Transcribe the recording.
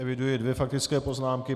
Eviduji dvě faktické poznámky.